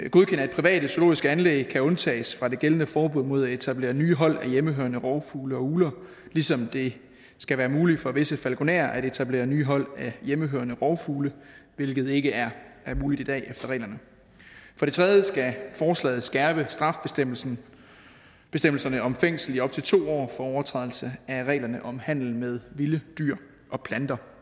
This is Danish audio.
private zoologiske anlæg kan undtages fra det gældende forbud mod at etablere nye hold af hjemmehørende rovfugle og ugler ligesom det skal være muligt for visse falkonerer at etablere nye hold af hjemmehørende rovfugle hvilket ikke er muligt i dag efter reglerne for det tredje skal forslaget skærpe strafbestemmelserne om fængsel i op til to år for overtrædelse af reglerne om handel med vilde dyr og planter